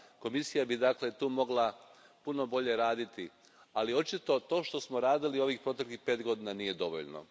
Komisija bi, dakle, tu mogla puno bolje raditi, ali očito to što smo radili ovih proteklih pet godina nije dovoljno.